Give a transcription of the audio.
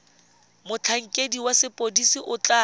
motlhankedi wa sepodisi o tla